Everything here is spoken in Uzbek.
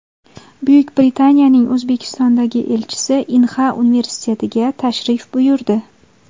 Buyuk Britaniyaning O‘zbekistondagi elchisi Inha universitetiga tashrif buyurdi.